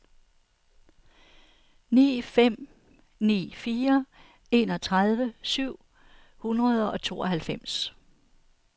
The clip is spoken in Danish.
ni fem ni fire enogtredive syv hundrede og tooghalvfems